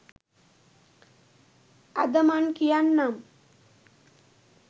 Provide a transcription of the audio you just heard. අද මං කියන්නම්